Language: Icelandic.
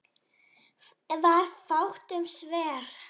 Var fátt um svör.